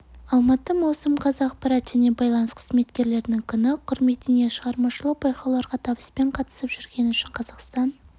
алматы маусым қаз ақпарат және байланыс қызметкерлерінің күні құрметіне шығармашылық байқауларға табыспен қатысып жүргені үшін қазақстан